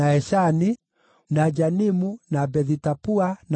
na Janimu, na Bethi-Tapua, na Afeka,